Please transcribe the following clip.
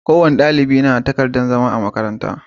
Kowane ɗalibi ya na da takardar zama a makaranta.